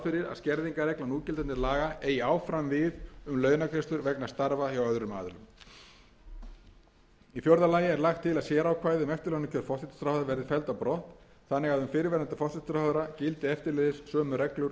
skerðingarregla núgildandi laga eigi áfram við um launagreiðslur vegna starfa hjá öðrum aðilum í fjórða lagi er lagt til að sérákvæði um eftirlaunakjör forsætisráðherra verði felld á brott þannig að um fyrrverandi forsætisráðherra gildi eftirleiðis sömu reglur